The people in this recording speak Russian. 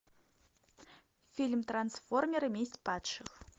фильм трансформеры месть падших